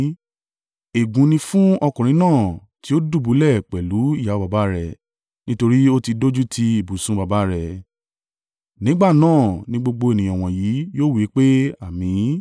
“Ègún ni fún ọkùnrin náà tí ó dùbúlẹ̀ pẹ̀lú ìyàwó baba rẹ̀, nítorí ó ti dójúti ibùsùn baba rẹ̀.” Nígbà náà ni gbogbo ènìyàn wọ̀nyí yóò wí pé, “Àmín!”